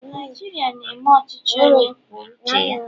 Naijiria na-eme ọchịchị onye kwuo uche ya